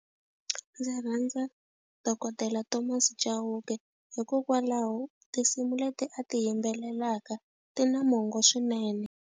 Ndzi rhandza dokodela Thomas Chauke hikokwalaho tinsimu leti a ti yimbelelaka ti na mongo swinene.